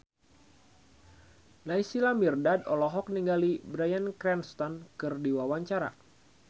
Naysila Mirdad olohok ningali Bryan Cranston keur diwawancara